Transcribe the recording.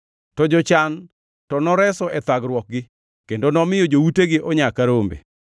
To jochan to noreso e thagruokgi, kendo nomiyo joutegi onya ka rombe.